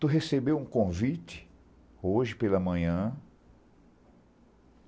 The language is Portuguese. Tu recebeu um convite hoje pela manhã.